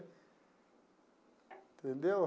Entendeu?